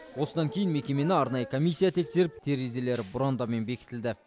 осыдан кейін мекемені арнайы комиссия тексеріп терезелері бұрандамен бекітілді